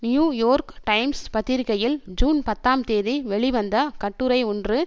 New York Times பத்திரிகையில் June பத்தாம் தேதி வெளிவந்த கட்டுரை ஒன்று